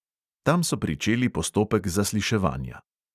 Tam so pričeli postopek zasliševanja.